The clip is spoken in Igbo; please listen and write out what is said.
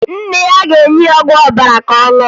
Nna ya ga-enye ya ọgwụ ọbara ka ọ ṅụọ